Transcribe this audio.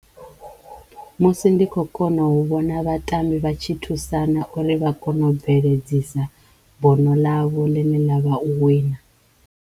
Musi ndi kho kona u vhona vhatambi vha tshi thusana uri vha kono u bveledzisa bono ḽa vho ḽi ne ḽa vha u wina.